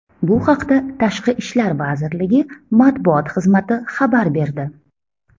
Bu haqda Tashqi ishlar vazirligi matbuot xizmati xabar berdi.